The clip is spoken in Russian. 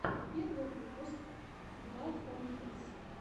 первый выпуск блогонхилс